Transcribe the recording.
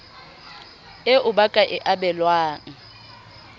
eo ba ka e abelwang